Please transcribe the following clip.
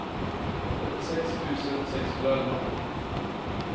trettiosex tusen sexhundraelva